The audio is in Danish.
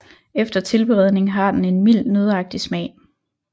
Efter tilberedning har den en mild nøddeagtig smag